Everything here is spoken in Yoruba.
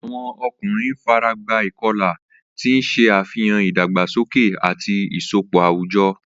Awọn ọkunrin faragba ikọla, ti n ṣe afihan idagbasoke ati isọpọ awujọ.